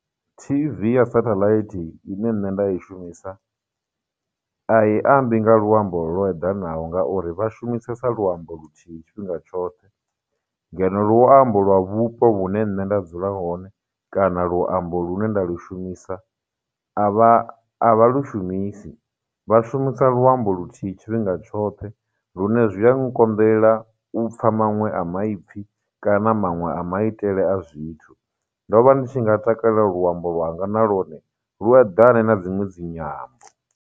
T_V ya sathalaithi ine nṋe nda i shumisa, a i ambi nga luambo lwo eḓanaho ngauri vha shumisesa luambo luthihi tshifhinga tshoṱhe, ngeno luambo lwa vhupo vhune nṋe nda dzula hone, kana luambo lu ne nda lu shumisa, a vha a vha lu shumisi vha shumisa luambo luthihi tshifhinga tshoṱhe, lune zwi a nkonḓela upfha maṅwe a maipfi kana maṅwe a maitele a zwithu. Ndo vha ndi tshi nga takalela luambo lwanga na lwone lu eḓane na dziṅwe dzinyambo.